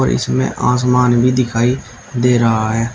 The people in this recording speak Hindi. इसमें आसमान भी दिखाई दे रहा है।